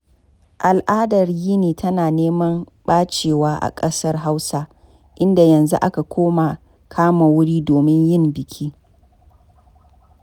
Al'adar yini tana neman ɓacewa a ƙasar Hausa, inda yanzu aka koma kama wuri domin yin biki.